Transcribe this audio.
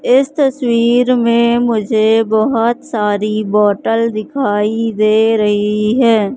इस तस्वीर में मुझे बहोत सारी बॉटल दिखाई दे रही है।